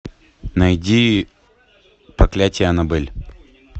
найди проклятие аннабель